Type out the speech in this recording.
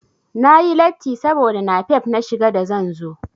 Na yi latti saboda napep na shiga da zan zo.